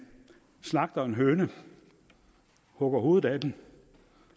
slagter en høne hugger hovedet af den